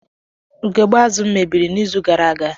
Ugogbe azụ m mebiri n'izu gara aga